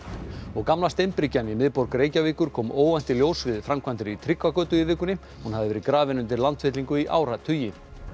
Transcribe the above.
gamla steinbryggjan í miðborg Reykjavíkur kom óvænt í ljós við framkvæmdir í Tryggvagötu í vikunni hún hafði verið grafin undir landfyllingu í áratugi